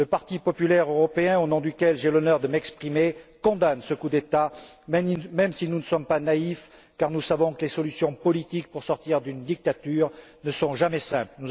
condamner! Le parti populaire européen, au nom duquel j'ai l'honneur de m'exprimer, condamne ce coup d'État même si nous ne sommes pas naïfs, car nous savons que les solutions politiques pour sortir d'une dictature ne sont jamais